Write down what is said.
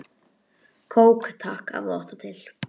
Kók takk, ef þú átt það til!